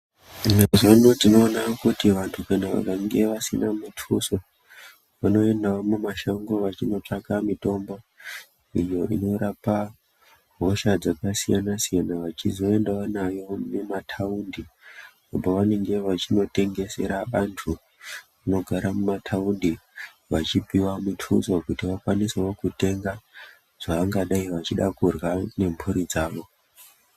Mazuvano tinoona kuti vantu kana vakange vasina mituso vanoendawo mumashango vachinotsvaka mitombo iyo inorapa hosha dzakasiyana-siyana. Vachizoendawo nayo mimataundi pavanenge vachinotengesera antu anogara mumataundi, Vachipiwa mituso kuti vakwanisewo kutenga zvavangadai vachida kurya nemburi dzavo.